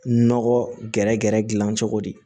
Nɔgɔ gɛrɛgɛrɛ gilan cogo di